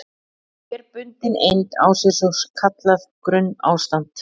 Hver bundin eind á sér svo kallað grunnástand.